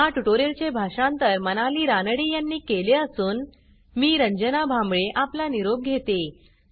ह्या ट्युटोरियलचे भाषांतर मनाली रानडे यांनी केले असून मी रंजना भांबळे आपला निरोप घेते160